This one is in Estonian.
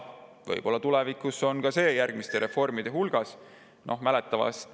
Võib-olla tulevikus ka see järgmiste reformide puhul ära.